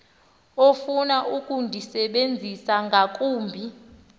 ofuna ukundisebenzisa ngakumbi